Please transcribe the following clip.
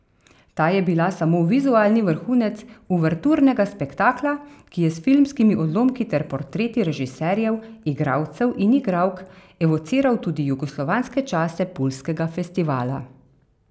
Ta je bila samo vizualni vrhunec uverturnega spektakla, ki je s filmskimi odlomki ter portreti režiserjev, igralcev in igralk evociral tudi jugoslovanske čase puljskega festivala.